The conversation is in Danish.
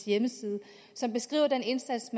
hjemmeside og som beskriver den indsats